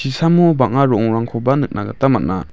chisamo bang·a ro·ongrangkoba nikna gita man·a.